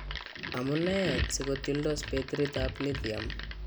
Amunee sikotyoldos betiriit ab Lithium?